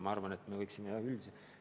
Ma arvan, et me võiksime üldiselt edasi liikuda.